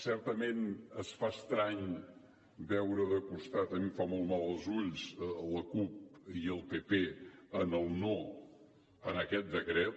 certament es fa estrany veure de costat a mi em fa molt mal els ulls la cup i el pp en el no a aquest decret